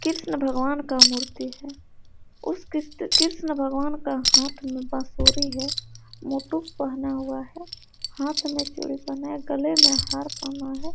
कृष्ण भगवान का मूर्ति है उस कृष्ण भगवान का हाथ में बांसुरी है पहना हुआ है हाथ में चूड़ी पहना है गले में हार पहना है।